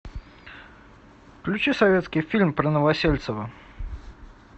включи советский фильм про новосельцева